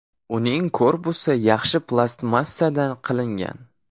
Uning korpusi yaxshi plastmassadan qilingan.